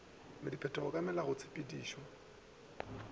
le diphetogo ka go melaotshepetšo